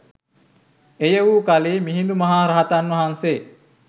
එය වූ කලී මිහිඳු මහ රහතන් වහන්සේ